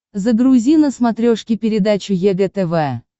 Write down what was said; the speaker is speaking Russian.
загрузи на смотрешке передачу егэ тв